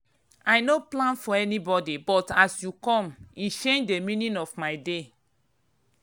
i no plan for anybody but as you come e change the meaning of my day.